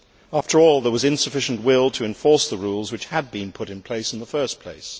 After all, there was insufficient will to enforce the rules that had been put in place in the first place.